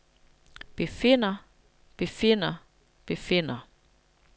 befinder befinder befinder